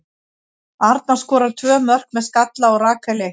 Arna skorar tvö með skalla og Rakel eitt.